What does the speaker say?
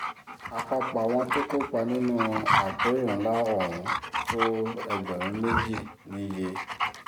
àpapọ̀ àwọn tó kópa nínú àpérò ńlá ohun tó ẹgbẹ̀rún méjì níye